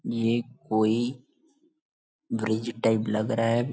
ये कोई bridge type लग रहा है।